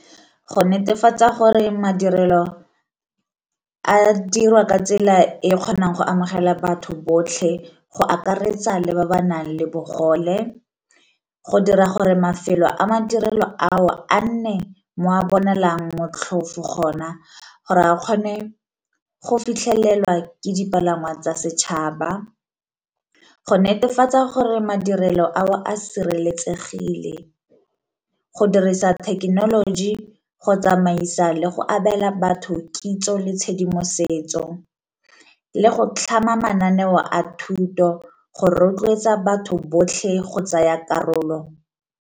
Go netefatsa gore madirelo a dirwa ka tsela e e kgonang go amogela batho botlhe go akaretsa le ba ba nang le bogole, go dira gore mafelo a madirelo ao a nne mo a bonalang motlhofo gona gore a kgone go fitlhelelwa ke dipalangwa tsa setšhaba, go netefatsa gore madirelo ao a sireletsegile, go dirisa thekenoloji go tsamaisa le go abela batho kitso le tshedimosetso, le go tlhama mananeo a thuto go rotloetsa batho botlhe go tsaya karolo.